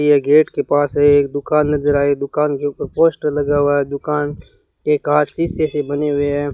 यह गेट के पास है एक दुकान नजर आए दुकान के ऊपर पोस्टर लगा हुआ है दुकान के कांच शीशे से बने हुए हैं।